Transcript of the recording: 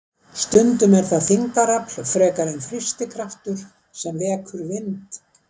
Stundum er það þyngdarafl frekar en þrýstikraftur sem vekur vind.